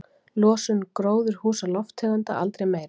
Losun gróðurhúsalofttegunda aldrei meiri